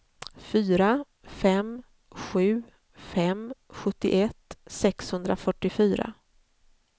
fyra fem sju fem sjuttioett sexhundrafyrtiofyra